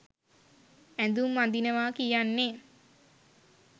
ඇඳුම් අඳිනවා කියන්නේ